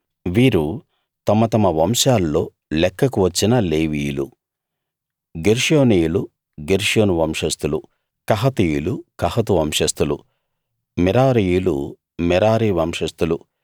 వీరు తమ తమ వంశాల్లో లెక్కకు వచ్చిన లేవీయులు గెర్షోనీయులు గెర్షోను వంశస్థులు కహాతీయులు కహాతు వంశస్థులు మెరారీయులు మెరారి వంశస్థులు